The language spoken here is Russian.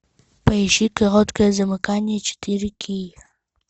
поищи короткое замыкание четыре кей